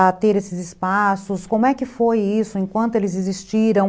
a ter esses espaços, como é que foi isso, em quanto eles existiram.